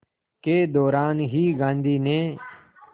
के दौरान ही गांधी ने